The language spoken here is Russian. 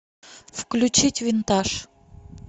включить винтаж